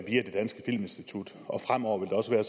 via det danske filminstitut og fremover vil det også være